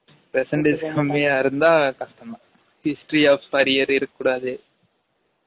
percentage கம்மியா இருந்தா கஷ்டம் தான் history of arrear இருக்க கூடாது